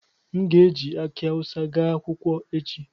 M ga-eji akị awụsa gaa akwụkwọ echi